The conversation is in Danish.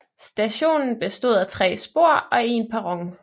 Stationen bestod af tre spor og en perron